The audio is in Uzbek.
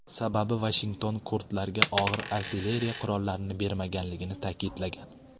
Sababi Vashington kurdlarga og‘ir artilleriya qurollarini bermaganligini ta’kidlagan.